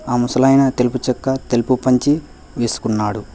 ఆ ముసలాయన తెలుపు చొక్కా తెలుపు పంచి వేసుకున్నాడు.